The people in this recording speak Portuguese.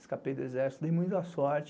Escapei do exército, dei muito à sorte.